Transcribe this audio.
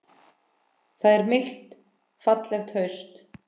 Það er milt fallegt haust.